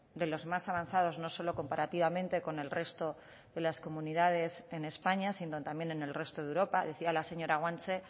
de los más avanzados no solo comparativamente con el resto de las comunidades en españa sino también en el resto de europa decía la señora guanche